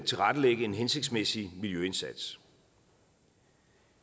tilrettelægge en hensigtsmæssig miljøindsats